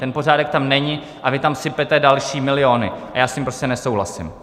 Ten pořádek tam není a vy tam sypete další miliony a já s tím prostě nesouhlasím.